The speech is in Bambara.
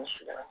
N sigira